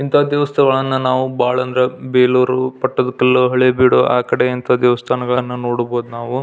ಇಂಥ ದೇವಸ್ಥಾನಗಳು ಅಂದ್ರೆ ಬಹಳ ಅಂದ್ರೆ ಬೇಳೂರು ಪಟ್ಟದಕಲ್ಲು ಹಳೇಬೀಡು ಅಂತ ಕಡೆ ದೇವಸ್ಥಾನಗಳನ್ನು ನೋಡಬಹುದು.